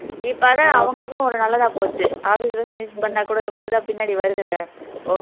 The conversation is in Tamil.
இப்போ அதான் அவங்களுக்கும் நல்லதா போச்சு office bus பண்ணா கூட நமக்கு தான் பின்னடி வருதுல்ல okay